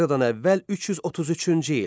Eradan əvvəl 333-cü il.